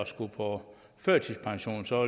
skulle på førtidspension så